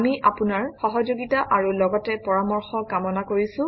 আমি আপোনাৰ সহযোগিতা আৰু লগতে পৰামৰ্শ কামনা কৰিছোঁ